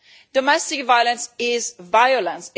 Domestic violence is violence.